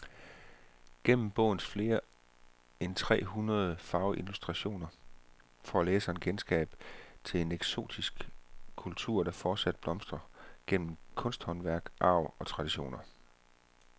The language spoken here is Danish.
Gennem bogens flere end tre hundrede farveillustrationer får læseren kendskab til en eksotisk kultur, der fortsat blomstrer gennem kunsthåndværk, arv og traditioner.